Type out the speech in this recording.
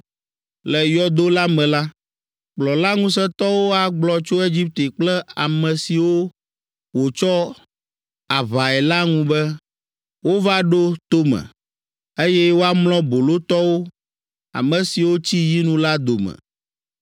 Le yɔdo la me la, kplɔla ŋusẽtɔwo agblɔ tso Egipte kple ame siwo wòtsɔ aʋae la ŋu be, ‘Wova ɖo tome, eye woamlɔ bolotɔwo, ame siwo tsi yinu la dome.’